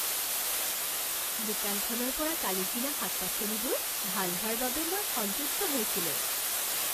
দোকানখনৰ পৰা কালি কিনা শাক পাচলিবোৰ ভাল হোৱাৰ বাবে মই সন্তুষ্ট হৈছিলোঁ।